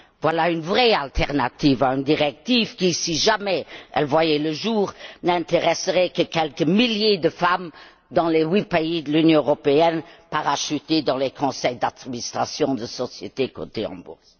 Voilà une vraie alternative à une directive qui, si jamais elle voyait le jour, n'intéresserait que quelques milliers de femmes, dans les huit pays de l'Union européenne, parachutées dans les conseils d'administration de sociétés cotées en bourse.